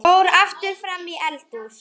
Fór aftur fram í eldhús.